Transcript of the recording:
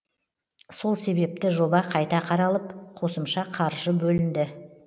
сол себепті жоба қайта қаралып қосымша қаржы бөлінді